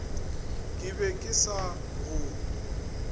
ke be ke sa go